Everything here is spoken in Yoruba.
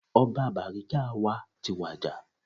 Ọba Bariga wa ti wàjà